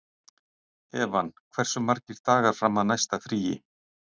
Evan, hversu margir dagar fram að næsta fríi?